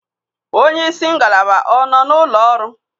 Onye isi ngalaba ọ nọ n'ụlọ ọrụ?